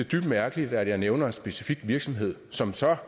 dybt mærkeligt at jeg nævner en specifik virksomhed som så